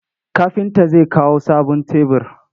Kafinta zai kawo sabon tebur.